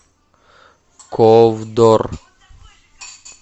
ковдор